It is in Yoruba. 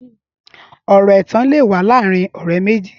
Ọrọ ẹtàn lè wà làárin ọrẹ méji